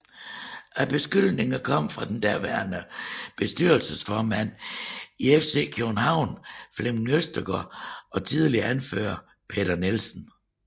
Beskyldningerne kom fra den daværende bestyrelsesformand i FC København Flemming Østergaard og tidligere anfører Peter Nielsen